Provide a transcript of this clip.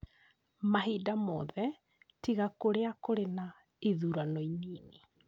Mahinda mothe, tiga kũrĩa kũrĩ na ithurano inini.